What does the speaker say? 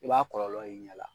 I b'a kɔlɔlɔ y'i ɲɛ la.